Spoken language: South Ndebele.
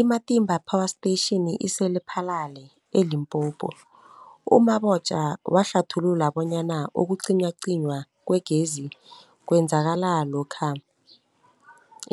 I-Matimba Power Station ise-Lephalale, eLimpopo. U-Mabotja wahlathulula bonyana ukucinywacinywa kwegezi kwenzeka lokha